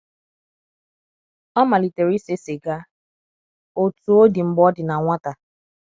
ọ malitere ise siga, otu odi mgbe ọ dị na nwata.